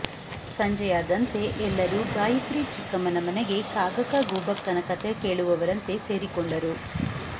ಸಂಜೆಯಾದಂತೆ ಎಲ್ಲರೂ ಗಾಯತ್ರಿ ಚಿಕ್ಕಮ್ಮನ ಮನೆಗೆ ಕಾಗಕ್ಕ ಗೂಬಕ್ಕನ ಕಥೆ ಕೇಳುವವರಂತೆ ಸೇರಿಕೊಂಡರು